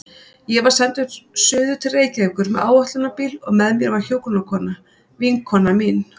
Ég var sendur suður til Reykjavíkur með áætlunarbíl og með mér var hjúkrunarkona, vinkona mín.